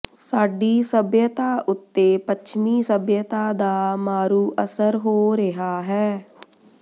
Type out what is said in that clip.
ਸਾਡੀ ਸਭਿਅਤਾ ਉੱਤੇ ਪੱਛਮੀ ਸਭਿਅਤਾ ਦਾ ਮਾਰੂ ਅਸਰ ਹੋ ਰਿਹਾ ਹੈ